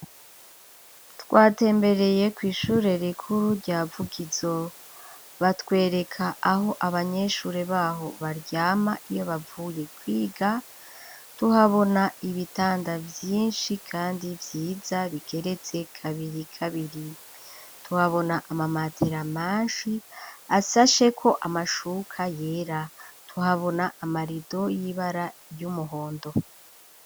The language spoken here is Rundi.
Twatembereye kw'ishure rikuru rya Vugizo batwereka aho abanyeshure baho baryama iyo bavuye kwiga tuhabona ibitanda vyishi kandi vyiza bikegetse kabiri kabiri tuhabona amamatera meshi asasheko amashuka yera tuhabona amarido y'ibara ry'umuhondo